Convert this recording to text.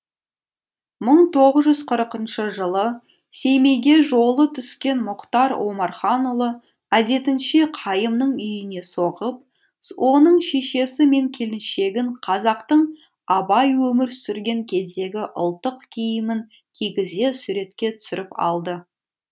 бір мың тоғыз жүз қырықыншы жылы семейге жолы түскен мұхтар омарханұлы әдетінше қайымның үйіне соғып оның шешесі мен келіншегін қазақтың абай өмір сүрген кездегі ұлттық киімін кигізе суретке түсіріп алды